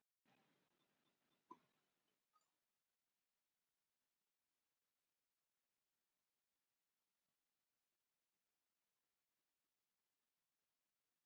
Eva móðgast við þessa athugasemd.